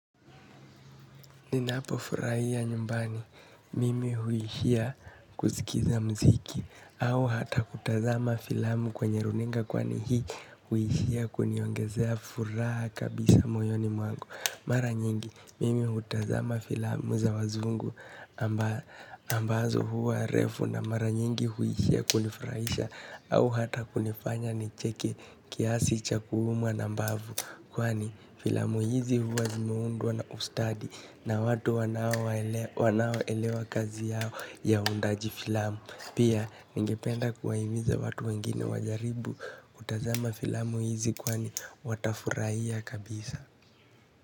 Ninapofurahia nyumbani, mimi huishia kusikiza muziki au hata kutazama filamu kwenye runinga kwani hii huishia kuniongezea furaha kabisa moyoni mwangu. Mara nyingi mimi hutazama filamu za wazungu ambazo huwa refu na mara nyingi huishia kunifurahisha au hata kunifanya nicheke kiasi cha kuumwa na mbavu kwani filamu hizi huwa zimeundwa na ustadi na watu wanaoelewa kazi yao ya uundaji filamu pia ningependa kuwahimiza watu wengine wajaribu kutazama filamu hizi kwani watafurahia kabisa.